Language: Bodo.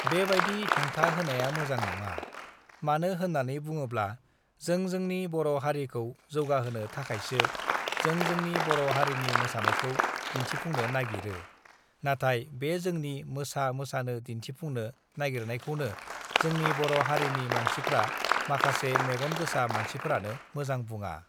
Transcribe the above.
बेबायदि हेंथा होनाया मोजां नङा; मानो होन्नानै बुङोब्ला जों जोंनि बर' हारिखौ जौगाहोनो थाखायसो जों जोंनि बर' हारिनि मोसानायखौ दिन्थिफु़ंनो नागिरो। नाथाय बे जोंनि मोसा-मोसानो दिन्थिफुंनो नागिरनायखौनो जोंनि बर' हारिनि मानसिफ्रा माखासे मेगन गोसा मानसिफ्रानो मोजां बुङा।